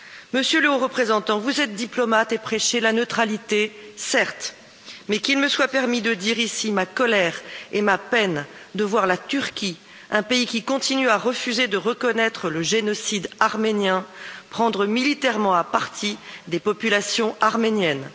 Monsieur le Haut représentant, vous êtes diplomate et prêchez la neutralité, certes, mais qu'il me soit permis de dire ici ma colère et ma peine de voir la Turquie, un pays qui continue à refuser de reconnaître le génocide arménien, prendre militairement à partie des populations arméniennes.